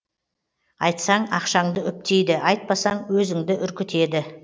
айтсаң ақшаңды үптейді айтпасаң өзіңді үркітеді